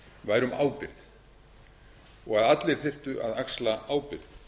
væri um ábyrgð og að allir þyrftu að axla ábyrgð